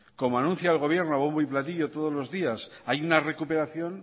como anuncia el gobierno a bombo y platillo todos los días hay una recuperación